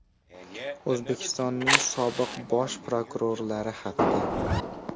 O‘zbekistonning sobiq bosh prokurorlari haqida.